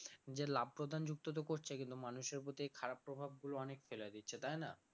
যে লাভ প্রধান যুক্ত তো করছে কিন্তু মানুষের প্রতি খারাপ প্রভাব গুলো অনেক ফেলে দিচ্ছে তাই না?